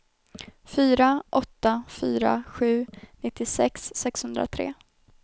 fyra åtta fyra sju nittiosex sexhundratre